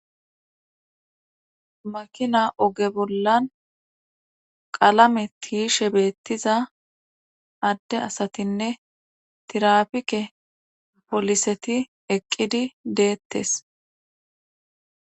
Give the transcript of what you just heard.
makina oge bollan qalame tiyishe beettiza adde asatinne tirapike poliseti eqqidi deettes